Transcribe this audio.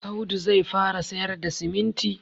Audu zai fara sayar da siminti